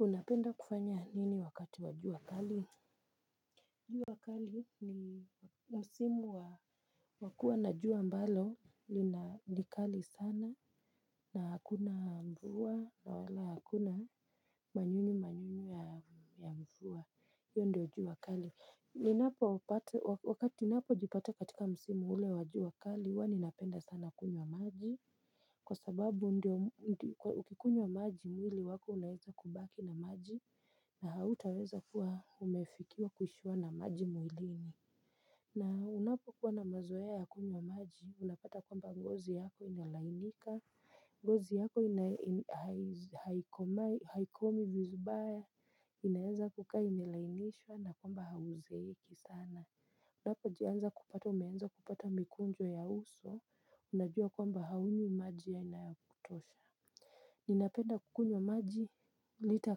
Unapenda kufanya nini wakati wa jua kali? Jua kali ni msimu wa wakua na jua ambalo lina ni kali sana na hakuna mvua na wala hakuna manyunyu manyunyu ya mvua. Hio ndio jua kali. Ninapo wapate wakati napojipata katika msimu ule wa jua kali ua ninapenda sana kunywa maji. Kwa sababu ukikunywa maji mwili wako unaeza kubaki na maji na hautaweza kuwa umefikiwa kuishiwa na maji mwilini. Na unapo kuwa na mazoea ya kunywa maji, unapata kwamba ngozi yako inalainika, ngozi yako haikomi vizubaya, inaeza kuka inelainishwa na kwamba hauzeeki sana. Unaoa jianza kupata umeanza kupata mikunjo ya uso unajua kwamba haunywi maji ya inayakutosha. Ninapenda kukunywa maji lita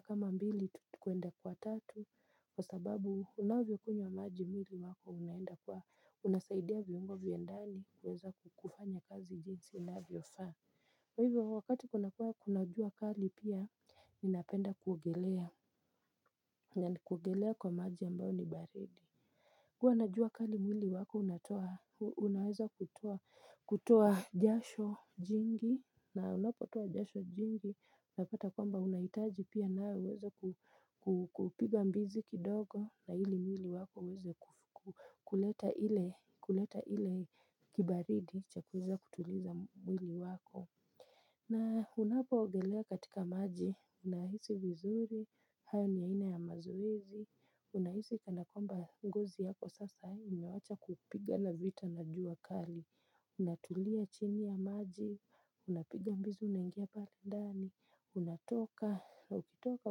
kama mbili tukuenda kwa tatu kwa sababu unavyo kunywa maji mwili wako unaenda kwa unasaidia viungo vya ndani kuweza kukufanya kazi jinsi inavyo faa kwaivyo wakati kuna kuwa kuna jua kali pia ninapenda kuogelea kwa maji ambayo ni baridi. Kuwa na jua kali mwili wako unaweza kutoa jasho jingi na unapotoa jasho jingi na pata kwamba unaitaji pia na uweza kupiga mbizi kidogo na ili mwili wako uweza kuleta ile kibaridi cha kweza kutuliza mwili wako. Na unapo ogelea katika maji, unahisi vizuri, hayo niyaina ya mazoezi, unahisi kanakwamba ngozi yako sasa, imewacha kupigana vita na jua kali, unatulia chini ya maji, unapiga mbizu, unangia pale ndani, unatoka, na ukitoka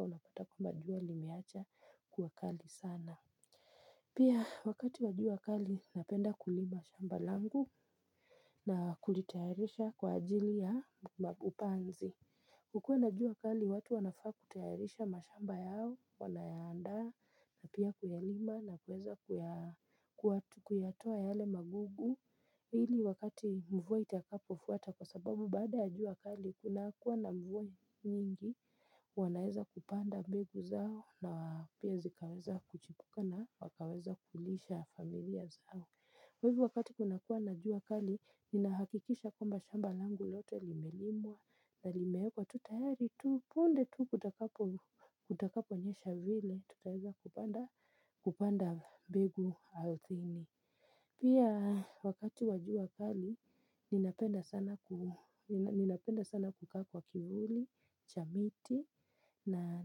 unapata kwamba jua limeacha kuwa kali sana. Pia wakati wa jua kali napenda kulima shamba langu na kulitayarisha kwa ajili ya upanzi. Kukua na jua wakali watu wanafaa kutayarisha mashamba yao wanayaanda. Na pia kuyalima na kuweza kuyatoa yale magugu. Hili wakati mvua itakapo fuata kwa sababu baada ya jua kali kuna kuwa na mvua nyingi wanaeza kupanda mbegu zao na wa pia zikaweza kuchipuka na wakaweza kulisha familia zao. Kwa hivyo wakati kuna kuwa na jua kali, ninahakikisha kwamba shamba langu lote limelimwa na limeekwa tu tahari tu punde tu kutakapo nyesha vile, tutaweza kupanda mbegu althini. Pia wakati wa jua kali, ninapenda sana kukaa kwa kivuli, cha miti, na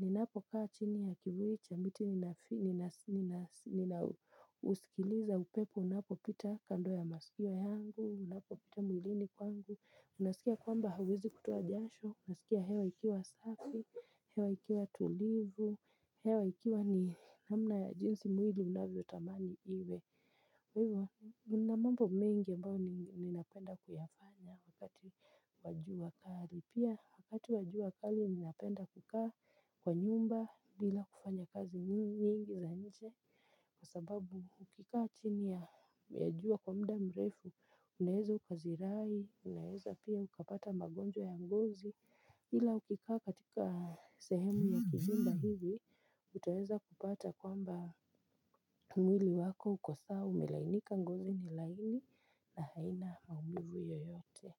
ninapokaa chini ya kivuli, chamiti, nina uskiliza upepo, unapopita kando ya maskio yangu, unapopita mwilini kwangu, unaskia kwamba hauwezi kutuwa jasho, unasikia hewa ikiwa safi, hewa ikiwa tulivu, hewa ikiwa ni namna ya jinsi mwili unavyo tamani iwe. Wewa unamambo mengi ambayo ninapenda kuyafanya wakati wa jua kali. Pia wakati wa jua kali ninapenda kukaa kwa nyumba bila kufanya kazi nyingi za nje. Kwa sababu ukikaa chini ya jua kwa mda mrefu, unaeza ukazirai, unaeza pia ukapata magonjwa ya ngozi. Hila ukikaa katika sehemu ya kizimba hivi utaeza kupata kwamba mwili wako ukosawa umilainika ngozi ni laini na haina maumivu yoyote.